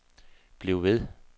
bliv ved